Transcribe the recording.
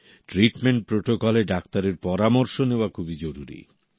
treatment প্রোটোকলে ডাক্তারের পরামর্শ নেওয়া খুবই জরুরী